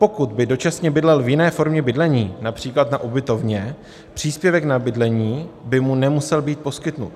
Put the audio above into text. Pokud by dočasně bydlel v jiné formě bydlení, například na ubytovně, příspěvek na bydlení by mu nemusel být poskytnut."